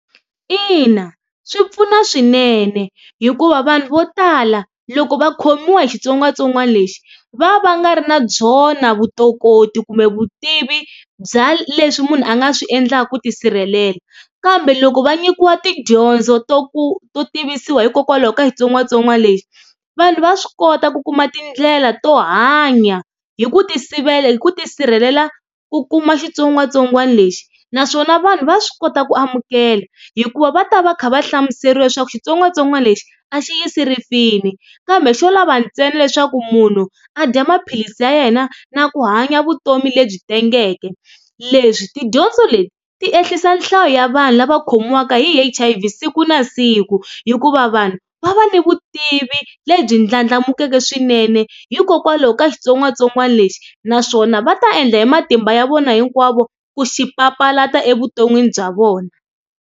Ina swi pfuna swinene hikuva vanhu vo tala loko va khomiwa hi xitsongwatsongwana lexi va va nga ri na byona vutokoti kumbe vutivi bya leswi munhu a nga swi endlaka ku tisirhelela kambe loko va nyikiwa tidyondzo to ku to tivisiwa hikokwalaho ka xitsongwatsongwana lexi vanhu va swi kota ku kuma tindlela to hanya hi ku ti sivela hi ku tisirhelela ku kuma xitsongwatsongwana lexi, naswona vanhu va swi kota ku amukela hikuva va ta va kha va hlamuseriwa leswaku xitsongwatsongwana lexi a xi yisi rifini kambe xo lava ntsena leswaku munhu a dya maphilisi ya yena na ku hanya vutomi lebyi tengeke leswi tidyondzo leti ti ehlisa nhlayo ya vanhu lava khomiwanga hi H_I_V siku na siku, hikuva vanhu va va ni vutivi lebyi ndlandlamukaka swinene hikokwalaho ka xitsongwatsongwana lexi naswona va ta endla hi matimba ya vona hinkwavo ku xi papalata evuton'wini bya vona.